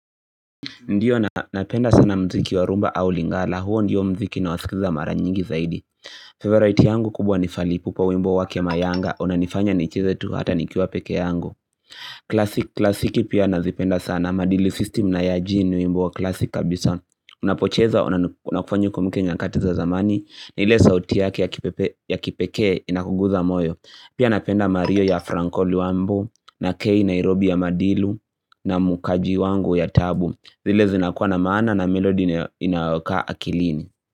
Ndiyo napenda sana mziki wa rumba au lingala, huo ndiyo mziki nawasikiza mara nyingi zaidi. Favorite yangu kubwa ni falipupa wimbo wake mayanga, unanifanya nicheze tu hata nikiwa pekee yangu. Classic klasiki pia nazipenda sana, madilu system na ya jean ni wimbo wa classic kabisa. Unapocheza, unafanya ukumbuke nyakati za zamani, ile sauti yake ya kipekee inakuguza moyo. Pia napenda mario ya franko liwambu, na kei nairobi ya madilu, na mukaji wangu ya tabu. Zile zinakuwa na maana na melody inaokaa akilini.